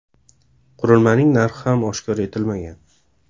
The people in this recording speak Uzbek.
Qurilmaning narxi ham oshkor etilmagan.